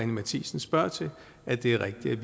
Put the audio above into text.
matthiesen spørger til at det er rigtigt